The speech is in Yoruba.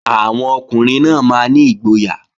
Àwọn ọkùnrin náà máa ní ìgboyà